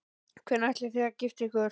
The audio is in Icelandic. Hvenær ætlið þið að gifta ykkur?